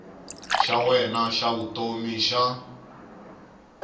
xa wena xa vutomi xa